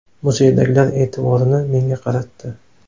Muzeydagilar e’tiborini menga qaratdi.